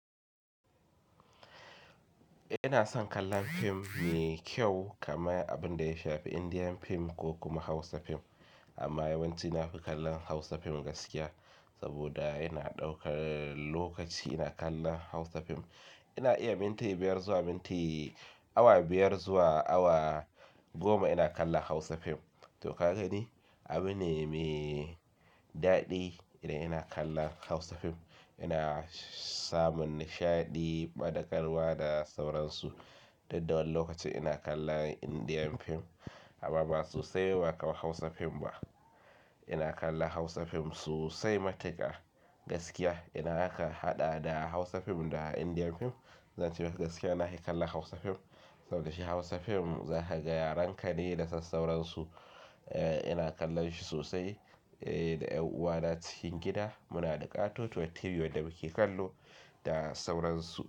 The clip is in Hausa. Ina son kallon fim mai kyau kamar abin da ya shafi Indian fim ko kuma Hausa fim, amma yawanci na fi kallon Hausa fim gaskiya, saboda yana ɗaukar lokaci ina kallon Hausa fim, ina iya minti biyar zuwa minti awa biyar zuwa awa goma ina kallon hausa fim, to ka gani, abune me daɗi idan ina kallon Hausa fim, ina samun nishaɗi, ɓadaƙarwa da sauransu, dudda wani lokacin ina kallon indian fim, amma ba sosai ba, ba kamar hausa fim ba, ina kallon Hausa fim sosai matuƙa gaskiya. Idan aka haɗa da Hausa fim da Indian fim, zan ce maka gaskiya na he kallon Hausa fim. Saboda shi Hausa fim za ka ga yaren ka ne da sauransu, eh ina kallon shi sosai eh da ƴanʼuwana cikin gida muna da ƙatotowa TV wanda muke kallo da sauransu,